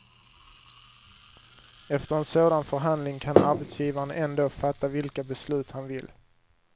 Efter en sådan förhandling kan arbetsgivaren ändå fatta vilka beslut han vill.